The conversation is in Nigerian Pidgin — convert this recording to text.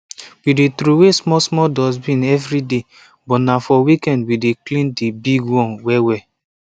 we dey throway small small dustbin evri day but na for weekend we dey clean di big one wellwell